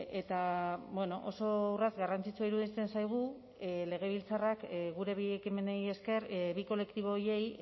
eta oso urrats garrantzitsua iruditzen zaigu legebiltzarrak gure bi ekimenei esker bi kolektibo horiei